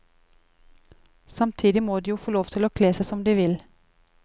Samtidig må de jo få lov til å kle seg som de vil.